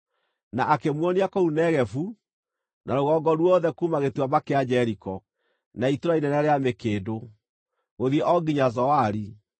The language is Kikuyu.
na akĩmuonia kũu Negevu na rũgongo ruothe kuuma Gĩtuamba kĩa Jeriko, na Itũũra inene rĩa Mĩkĩndũ, gũthiĩ o nginya Zoari.